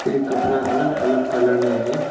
ये कपड़ा अलग अलग कलर में है।